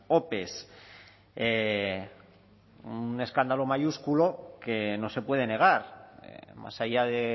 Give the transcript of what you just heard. ope un escándalo mayúsculo que no se puede negar más allá de